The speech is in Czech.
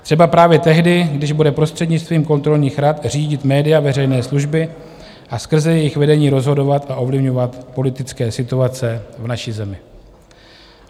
Třeba právě tehdy, když bude prostřednictvím kontrolních rad řídit média veřejné služby a skrze jejich vedení rozhodovat a ovlivňovat politické situace v naší zemi.